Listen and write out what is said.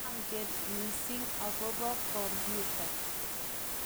manget mising' akobo kompyuta